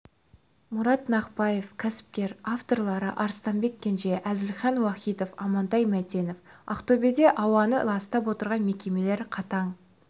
мұрат нақпаев кәсіпкер авторлары арыстанбек кенже әзілхан уахитов амантай мәтенов ақтөбеде ауаны ластап отырған мекемелер қатаң